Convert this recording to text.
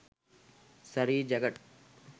saree jacket